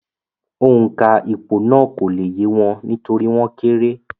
Òǹkà ìpò náà kò le yé wọn nítorí wọ́n kéré